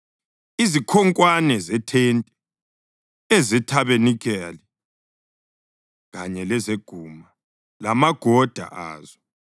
izikhonkwane zethente, ezethabanikeli kanye lezeguma, lamagoda azo,